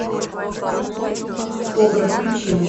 кобра включи мне